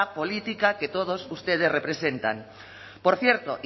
política que todos ustedes representan por cierto